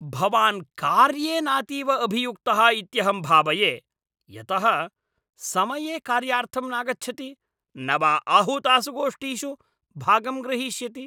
भवान् कार्ये नातीव अभियुक्तः इत्यहं भावये यतः समये कार्यार्थं नागच्छति न वा आहूतासु गोष्ठीषु भागं ग्रहीष्यति ।